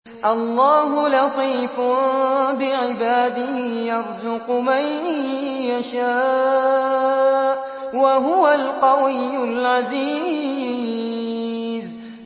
اللَّهُ لَطِيفٌ بِعِبَادِهِ يَرْزُقُ مَن يَشَاءُ ۖ وَهُوَ الْقَوِيُّ الْعَزِيزُ